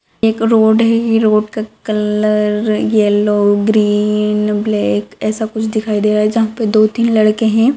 एक रोड है ये रोड का कलर येल्लो ग्रीन ब्लैक ऐसा कुछ दिखाई दे रहा है जहां पर दो तीन लड़के है।